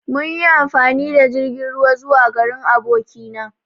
Mun yi amfani da jirgin ruwa zuwa garin aboki na.